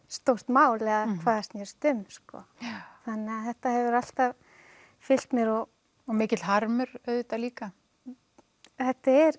stórt mál eða hvað það snerist um þannig þetta hefur alltaf fylgt mér og og mikill harmur auðvitað líka þetta er